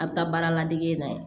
A bɛ taa baara ladege na ye